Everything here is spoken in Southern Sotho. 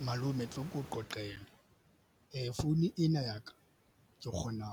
Malome tlo ke o qoqele founu ena ya ka. Ke kgona